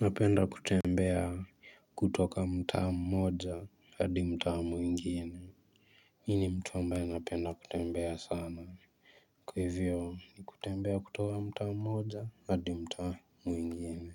Napenda kutembea kutoka mtaa mmoja hadi mtaa mwingine mimi ni mtu ambaye napenda kutembea sana kwa hivyo ni kutembea kutoka mtaa mmoja adi mtaa mwingine.